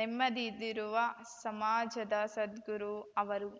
ನೆಮ್ಮದುರಿರುವ ಸಮಾಜದ ಸದ್ಗುರು ಅವರು